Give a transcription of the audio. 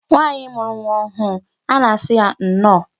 Nwaanyị mụrụ nwa ọhụụ a na-asị ya nnọọ